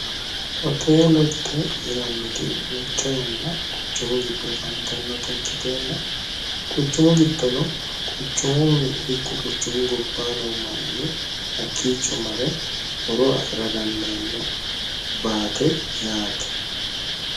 hoteelotte yinanniti duucha yanna quchumu giddo afantannota ikkiteenna quchumu giddono quchumuh ikko quchumu gobbaano manni hakkiicho mare horo afi'ra dandaanno baate yaate